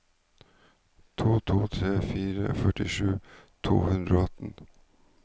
to to tre fire førtisju to hundre og atten